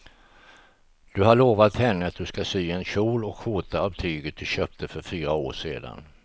Du har lovat henne att du ska sy en kjol och skjorta av tyget du köpte för fyra år sedan.